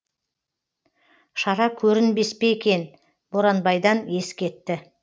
шара көрінбес пе екен боранбайдан ес кетті